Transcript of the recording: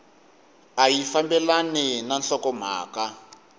a yi fambelani na nhlokomhaka